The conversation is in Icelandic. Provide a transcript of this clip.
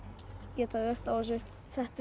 geta verið á þessu þetta er